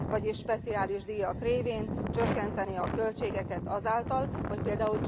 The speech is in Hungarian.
Vagyis speciális díjak révén csökkenteni a költségeket azáltal, hogy pl.